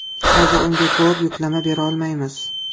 Hozir unga ko‘p yuklama bera olmaymiz.